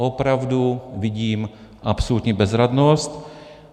Opravdu vidím absolutní bezradnost.